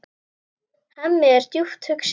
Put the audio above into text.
Hemmi er djúpt hugsi.